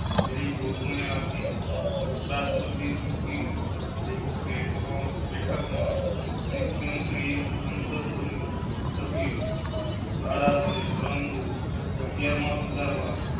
શ્રી જોગમાયા તી ઉપરાષ્ટ્રપતિ ચૂંટણી. બેઠક માં સાંસદ બની સભ્યો દ્વારા છે પરંતુ અગ્યારમાં સુધારવા